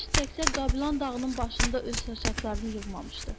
Günəş təkcə Qabilan dağının başında öz şüaçaxlarını yığmamışdı.